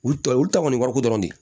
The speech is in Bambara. Olu ta olu ta kɔni wariko dɔrɔn de